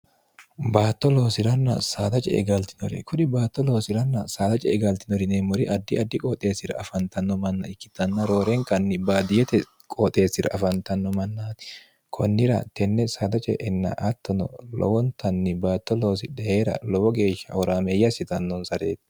baatto loosilanna saada ce e galtinore kuni baatto loosilanna saada ce e galtinori neemmori addi addi qooxeessira afantanno manna ikkitanna roorenkanni baadiyote qooxeessira afantanno mannaati kunnira tenne saada ce enna attono lowontanni baatto loosi dheera lowo geeshsha horaameeyya hssitannonsareeti